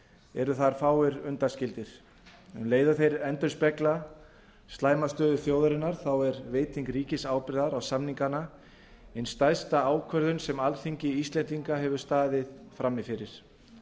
eru þar fáir undanskildir um leið og þeir endurspegla slæma stöðu þjóðarinnar þá er veiting ríkisábyrgðar á samningana ein stærsta ákvörðun sem alþingi íslendinga hefur staðið frammi fyrir